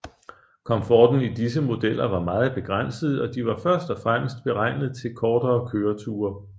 Komforten i disse modeller var meget begrænset og de var først og fremmest beregnet til kortere køreture